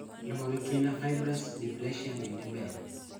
Luo gi kinda fibrous dysplasia bende ber